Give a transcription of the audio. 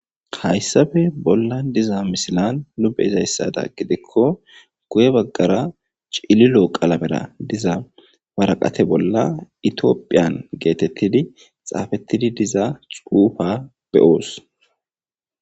hayssafe bolla diza misilan lube izayssada gidikko guye baggara cililo qalamera diza waraqate bolla itiophiyan geetettidi xaafettidi diza xuufa beyoos